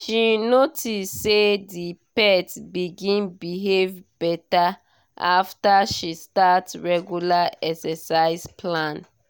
she notice say the pet begin behave better after she start regular exercise plan